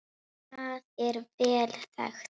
Það er vel þekkt.